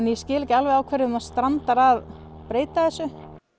ég skil ekki alveg á hverjum það strandar að breyta þessu